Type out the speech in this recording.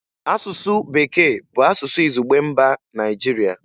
Asụsụ Bekee bụ asụsụ izugbe mba Nigeria